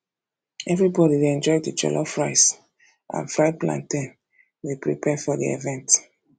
everybody dey enjoy the jollof rice and fried plantain we prepare for the event